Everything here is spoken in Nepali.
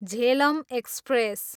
झेलम एक्सप्रेस